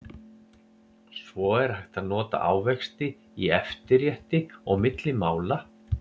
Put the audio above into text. svo er hægt að nota ávexti í eftirrétti og milli mála